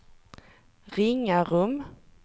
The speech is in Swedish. Ringarum